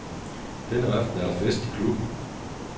Denne aften er der fest i klubben.